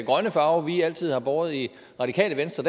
grønne farve vi altid har båret i radikale venstre